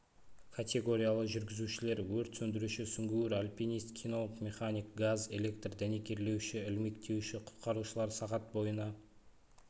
категориялы жүргізушілер өрт сөндіруші сүңгуір альпинист кинолог механик газ электр дәнекерлеуші ілмектеуші құтқарушылар сағат бойына